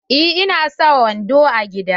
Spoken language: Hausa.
Eh ina sa wando a gida.